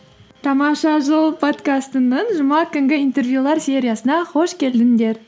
тамаша жыл подкастының жұма күнгі интервьюлар сериясына қош келдіңдер